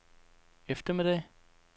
eftermiddag